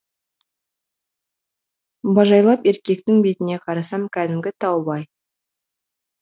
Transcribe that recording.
бажайлап еркектің бетіне қарасам кәдімгі таубай